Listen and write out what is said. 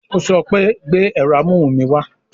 Ó sọ pé "gbé ẹ̀rọ amóhùn mi wá"